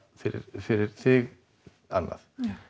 fyrir fyrir þig annað